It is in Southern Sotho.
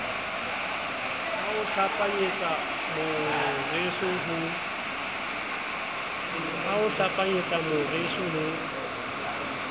a o hlapanyetsa moreso ho